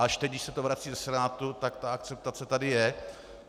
Až teď, když se to vrací ze Senátu, tak ta akceptace tady je.